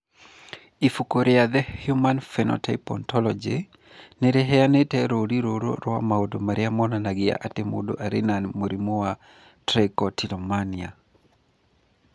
Ibuku rĩa The Human Phenotype Ontology nĩ rĩheanĩte rũũri rũrũ rwa maũndũ marĩa monanagia atĩ mũndũ arĩ na Trichotillomania.